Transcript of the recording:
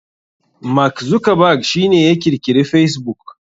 Mark Zuckerberg shi ne ya kirkiri facebook.